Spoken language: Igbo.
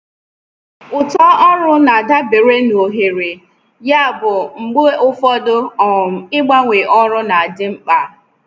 Uto ọrụ na-adabere na ohere, yabụ mgbe ụfọdụ um ịgbanwe ọrụ na-adị mkpa.